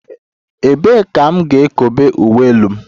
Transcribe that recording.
Ebee ka m ga-ekobe uwe elu m?